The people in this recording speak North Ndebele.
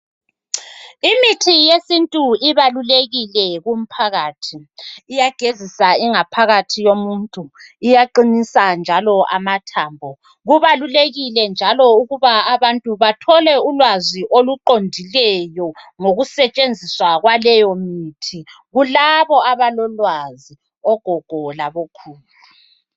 Imithi yesintu ibalulekile kumphakathi iyagezisa ingaphkathi yomuntu iyaqinisa njalo amathambo kubalulekile njalo ukuba abantu bathole ulwazi oluqondileyo ngokusetshenziswa kwaleyo mithi lilabo abalolwazi ogogo labo khulu